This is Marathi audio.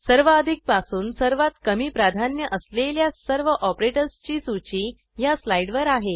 सर्वाधिक पासून सर्वात कमी प्राधान्य असलेल्या सर्व ऑपरेटर्सची सूची ह्या स्लाईडवर आहे